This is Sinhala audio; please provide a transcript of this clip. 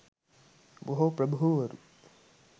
බොහෝ ප්‍රභූවරු